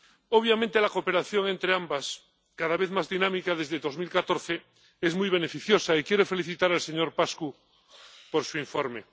Obviamente, la cooperación entre ambas, cada vez más dinámica desde 2014, es muy beneficiosa, y quiero felicitar al señor Paşcu por su informe.